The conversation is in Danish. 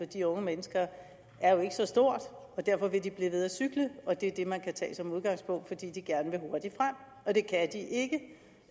de unge mennesker derfor vil de blive ved med at cykle og det er det man kan tage som udgangspunkt fordi de gerne vil hurtigt frem og det kan de ikke